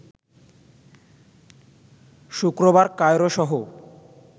শুক্রবার কায়রোসহ